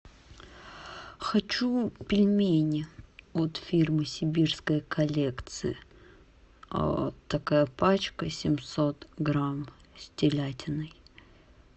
хочу пельмени от фирмы сибирская коллекция такая пачка семьсот грамм с телятиной